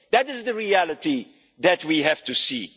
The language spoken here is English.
a state. That is the reality that we have